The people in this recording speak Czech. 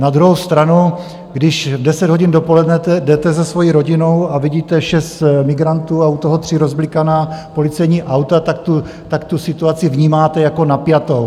Na druhou stranu, když v deset hodin dopoledne jdete se svojí rodinou a vidíte šest migrantů a u toho tři rozblikaná policejní auta, tak tu situaci vnímáte jako napjatou.